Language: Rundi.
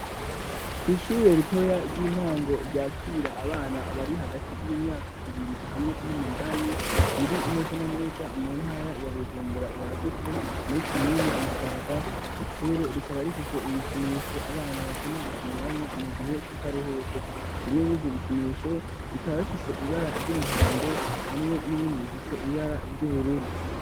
Kwishuri ritoya ry'intango ryakira abana bari hagati y'imyaka ibiri hamwe n'umunani riri neza na neza mu ntara ya Bujumbura ryagutse muri komine Musaga ishure rikaba rifise ibikinisho abana bakunda gukiniramwo mu gihe cakaruhuko bimwe mwizo bikinisho rikaba bifise ibara ry'umuhondo hamwe n'ibindi bifise ibara ry'ubururu.